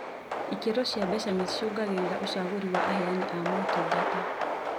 Ikĩro cia mbeca nĩcicũngagĩrĩria ũcagũri wa aheani a motungata